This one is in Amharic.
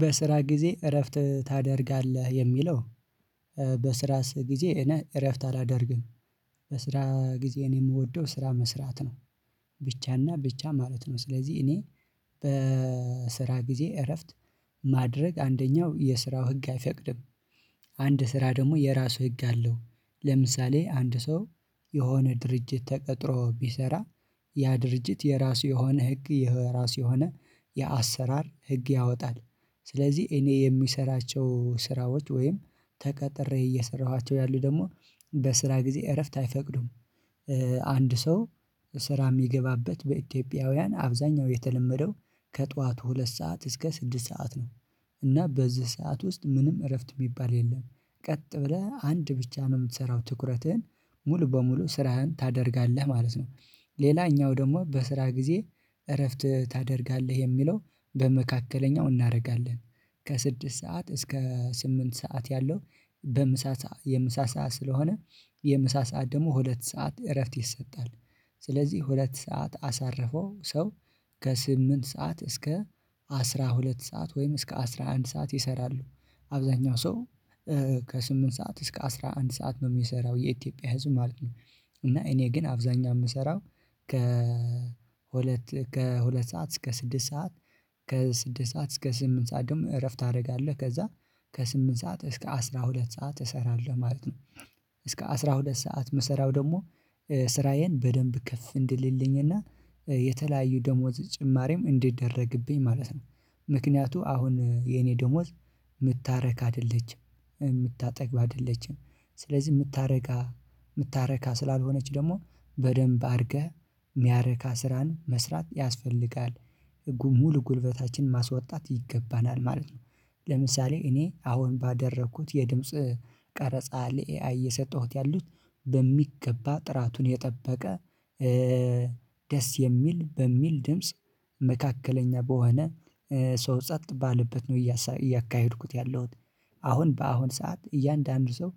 በስራ ጊዜ እረፍት ታደርጋለህ የሚለው? በስራ ጊዜ እኔ እረፍት አላደርግም። በስራ ጊዜ እኔ የምወደው ስራ መስራት ነው። ብቻና ብቻ ማለት ነው። ስለዚህ እኔ በስራ ጊዜ እረፍት ማድረግ አንደኛው የስራው ህግ አይፈቅድም። አንድ ስራ ደግሞ የራሱ ህግ አለው። ለምሳሌ አንድ ሰው የሆነ ድርጅት ተቀጥሮ ቢሰራ። ያ ድርጅት የራሱ የሆነ ህግ የራሱ የሆነ የአሰራር ህግ ያወጣል። ስለዚህ እኔ የሚሰራቸው ስራዎች ወይም ተቀጥሬ እየሰራኋቸው ያሉት ደግሞ በስራ ጊዜ እረፍት አይፈቅዱም። አንድ ሰው ስራ የሚገባበት በኢትዮጵያውያን አብዛኛው የተለመደው ከጧት ሁለት ሰዓት እስከ ስድስት ሰዓት ነው። እና በዚህ ሰዓት ውስጥ ምንም እረፍት የሚባል የለም። ቀጥ ብለህ አንድ ብቻ ነው የምትሰራው ትኩረትህን ሙሉ በሙሉ ስራህን ታደርጋለህ ማለት ነው። ሌላኛው ደግሞ በስራ ጊዜ እረፍት ታደርጋለህ የሚለው በመካከለኛው እናደርጋለን። ከስድስት ሰዓት እስከ ስምንት ሰዓት ያለው በምሳ የምሳ ሰዓት ስለሆነ የምሳ ሰዓት ደግሞ ሁለት ሰዓት እረፍት ይሰጣል። ስለዚህ ሁለት ሰዓት አሳረፈው ሰው ከስምንት ሰዓት እስከ አስራ ሁለት ሰዓት ወይም እስከ አስራ አንድ ሰዓት ይሰራሉ። አብዛኛው ሰው ከስምንት ሰዓት እስከ አስራ አንድ ሰዓት ነው የሚሰራው የኢትዮጵያ ህዝብ ማለት ነው። እና እኔ ግን አብዛኛው የምሰራው ከ ከሁለት ሰዓት እስከ ስድስት ሰዓት። ከ ስድስት ሰዓት እስከ ስምንት ሰዓት ደግሞ እረፍት አደርጋለሁ ከዛ ከስምንት ሰዓት እስከ አስራ ሁለት ሰዓት እሰራለሁ ማለት ነው። እስከ አስራ ሁለት ሰዓት ምሰራው ደግሞ ስራዬን በደንብ ከፍ እንዲልልኝ እና የተለያዩ ደሞዝ ጭማሪም እንዲደረግብኝ ማለት ነው። ምክንያቱ አሁን የኔ ደሞዝ የምታረካ አይደለችም። የምታጠግብ አይደለችም። ስለዚህ የምታረካ የምታረካ ስላልሆነች ደግሞ በደንብ አድርገህ ሚያረካ ስራን መስራት ያስፈልጋል። ህጉ ሙሉ ጉልበታችን ማስወጣት ይገባናል ማለት ነው። ለምሳሌ እኔ አሁን ባደረኩት የድምጽ ቀረጻ ለኤአይ እየሰጠሁት ያሉት በሚገባ ጥራቱን የጠበቀ። ደስ የሚል በሚል ድምጽ መካከለኛ በሆነ ሰው ጸጥ ባለበት ነው እያካሄድኩት ያለሁት። አሁን በአሁን ሰዓት እያንዳንዱ ሰው